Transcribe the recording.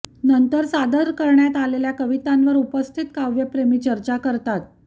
नंतर सादर करण्यात आलेल्या कवितांवर उपस्थित काव्यप्रेमी चर्चा करतात